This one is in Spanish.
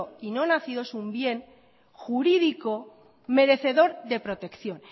y no nacido es un bien jurídico merecedor de protección